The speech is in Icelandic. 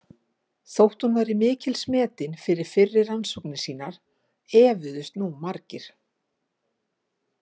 Þótt hún væri mikils metin fyrir fyrri rannsóknir sínar efuðust nú margir.